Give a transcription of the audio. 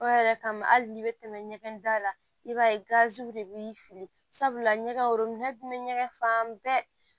O yɛrɛ kama hali n'i bɛ tɛmɛ ɲɛgɛn da la i b'a ye gaziw de b'i fili sabula ɲɛgɛn wo ɲɛgɛn fan bɛɛ